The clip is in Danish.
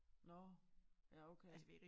Nåh ja okay